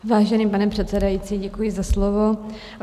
Vážený pane předsedající, děkuji za slovo.